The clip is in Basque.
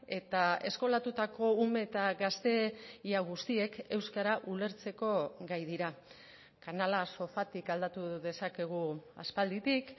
eta eskolatutako ume eta gazte ia guztiek euskara ulertzeko gai dira kanala sofatik aldatu dezakegu aspalditik